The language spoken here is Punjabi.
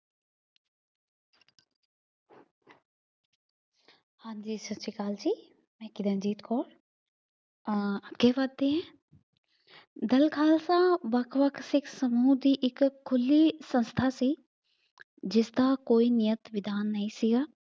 ਹਾਂਜੀ ਸਤਿ ਸ੍ਰੀ ਅਕਾਲ ਜੀ, ਮੈਂ ਕਿਰਨਦੀਪ ਕੌਰ ਅਹ ਅੱਗੇ ਵੱਧਦੇ ਹਾਂ ਦਲ ਖਾਲਸਾ ਵੱਖ ਵੱਖ ਸਿੱਖ ਸਮੂਹ ਦੀ ਇੱਕ ਖੁੱਲ੍ਹੀ ਸੰਸਥਾ ਸੀ। ਜਿਸਦਾ ਕੋਈ ਨਿਯਤ ਵਿਧਾਨ ਨਹੀ ਸੀਗਾ।